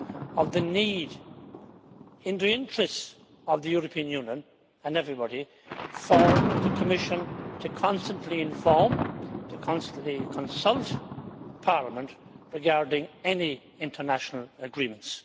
of the need, in the interests of the European Union and everybody, for the Commission to constantly inform and to constantly consult Parliament regarding any international agreements.